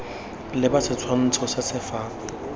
leba setshwantsho se se fa